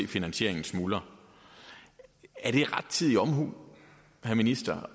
finansieringen smuldrer er det rettidig omhu herre minister